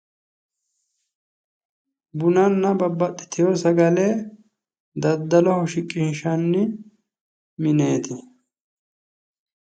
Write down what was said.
Bunanna babbaxitino sagale daddalloho shiqqinshanni mineti